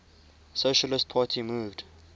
socialist party moved